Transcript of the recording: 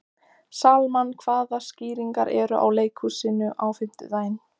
Salmann, hvaða sýningar eru í leikhúsinu á fimmtudaginn?